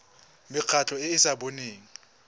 mekgatlho e e sa boneng